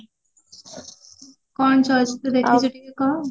କଣ ଚଳଚିତ୍ର ଦେଖୁଚୁ ଟିକେ କହ